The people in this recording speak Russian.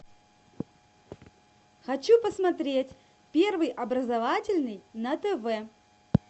хочу посмотреть первый образовательный на тв